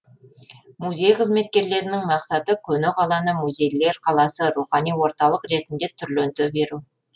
музей қызметкерлерінің мақсаты көне қаланы музейлер қаласы рухани орталық ретінде түрленте беру